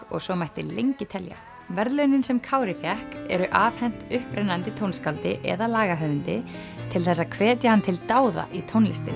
og svo mætti lengi telja verðlaunin sem Kári fékk eru afhent upprennandi tónskáldi eða lagahöfundi til þess að hvetja hann til dáða í tónlistinni